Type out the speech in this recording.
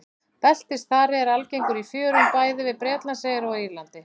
Beltisþari er algengur í fjörum bæði við Bretlandseyjar og á Írlandi.